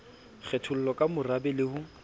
kgetholle ka morabe le ho